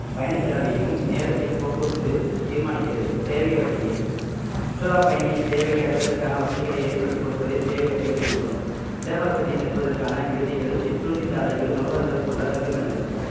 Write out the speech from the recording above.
பயணச் செலவையும் நேரத்தையும் போக்குவரத்து தீர்மானிக்கிறது சேவை வசதிகள் சுற்றுலா பயணியின் தேவைகளை அடைவதற்கான வசதிகளை ஏற்படுத்திக் கொடுப்பதே சேவை வசதிகள் எனப்படும் இடவசதி தங்குவதற்கான விடுதிகள் சிற்றுண்டி சாலைகள் உணவகங்கள் போன்ற தங்குமிடங்கள்